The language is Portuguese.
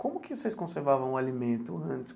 Como que vocês conservavam o alimento antes?